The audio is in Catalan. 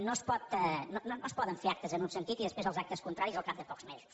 no es poden fer actes en un sentit i després els actes contraris al cap de pocs de mesos